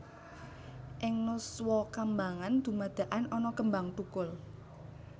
Ing nuswakambangan dumadakan ana kembang thukul